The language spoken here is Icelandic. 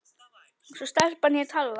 Svo stelpan hét Halla.